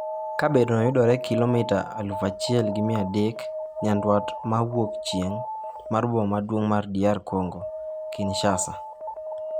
Kabedono yudore kilomita 1,300 nyandwat ma wuok chieng' mar boma maduong' mar DR Kongo, Kinshasa.